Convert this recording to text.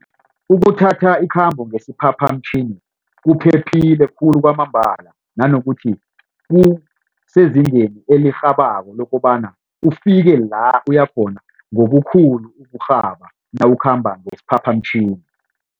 Ukuthatha ikhambo ngesiphaphamtjhini kuphephile khulu kwamambala nanokuthi kusezingeni elirhabako lokobana ufike la uyakhona ngokukhulu ukurhaba nawukhamba ngesiphaphamtjhini.